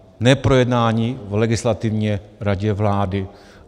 Neprojednání v Legislativě radě vlády.